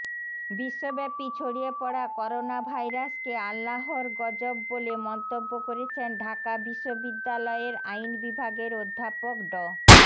বিশ্বব্যাপী ছড়িয়ে পড়া করোনাভাইরাসকে আল্লাহর গজব বলে মন্তব্য করেছেন ঢাকা বিশ্ববিদ্যালয়ের আইন বিভাগের অধ্যাপক ড